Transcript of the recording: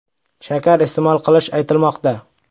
shakar iste’mol qilishi aytilmoqda.